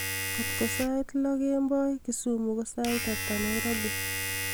kotko sait lo kemboi kisumu ko sait ata nairobi